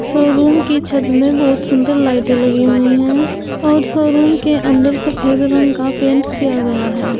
Showroom की छत में बहुत सुंदर लाइटें लगी हुई हैं और शोरूम के अंदर सफेद रंग का पेंट किया गया है।